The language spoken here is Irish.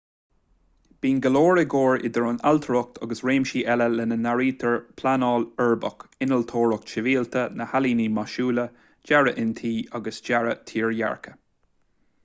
bíonn go leor i gcomhar idir an ailtireacht agus réimsí eile lena n-áirítear pleanáil uirbeach innealtóireacht shibhialta na healaíona maisiúla dearadh intí agus dearadh tírdhreacha